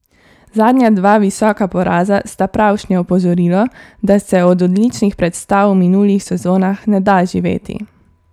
Zadnja dva visoka poraza sta pravšnje opozorilo, da se od odličnih predstav v minulih sezonah ne da živeti.